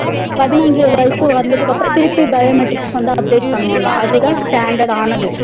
பதினஞ்சி வயசு வந்ததுக்கு அப்பறம் திருப்பி biometrics வந்து update பண்ணுவாங்க அதுத standard ஆனது